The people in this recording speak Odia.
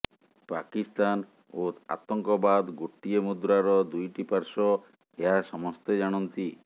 ପାକିସ୍ତାନ ଓ ଆତଙ୍କବାଦ ଗୋଟିଏ ମୁଦ୍ରାର ଦୁଇଟି ପାର୍ଶ୍ୱ ଏହା ସମସ୍ତେ ଜାଣନ୍ତି